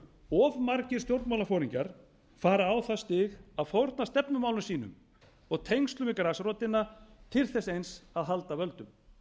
of margir stjórnmálaforingjar fara á það stig að fórna stefnumálum sínum og tengslum við grasrótina til þess eins að halda völdum